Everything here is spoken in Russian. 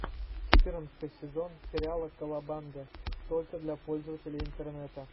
четырнадцатый сезон сериала колобанга только для пользователей интернета